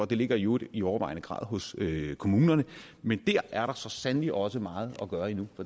det ligger i øvrigt i overvejende grad hos kommunerne men dér er da så sandelig også meget at gøre endnu